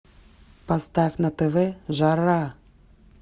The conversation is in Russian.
поставь на тв жара